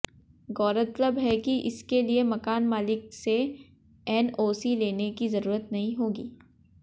गौरतलब है कि इसके लिए मकान मालिक से एनओसी लेने की जरूरत नहीं होगी